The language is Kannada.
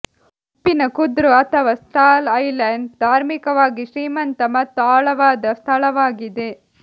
ಉಪ್ಪಿನ ಕುದ್ರು ಅಥವಾ ಸಾಲ್ಟ್ ಐಲ್ಯಾಂಡ್ ಧಾರ್ಮಿಕವಾಗಿ ಶ್ರೀಮಂತ ಮತ್ತು ಆಳವಾದ ಸ್ಥಳವಾಗಿದೆ